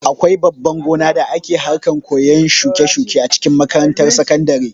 Akwai babban gona da ake harkan koyan shuke-shuke a cikin makarantar sakandare.